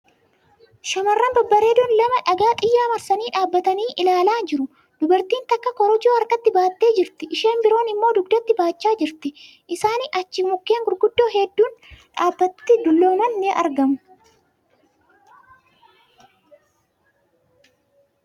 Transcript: Shamarran babbareedoon lama dhagaa xiyyaa marsanii dhaabatanii I ilaalaa jiru. Dubartiin takka korojoo harkatti baattee jirti. Isheen biroon immoo dugdatti baachaa jirti . Isaanii achi mukkeen gurgudoon hedduun dhaabbitti dullooman ni argamu.